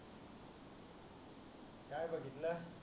काय बघितल